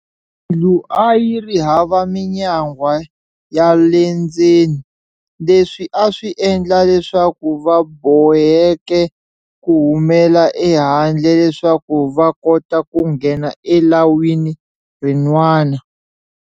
Yindlu a yiri hava minyangwa ya lendzeni, leswi aswi endla leswaku vaboheke kuhumela ehandle leswaku vakota ku nghena e lawini rin'wana.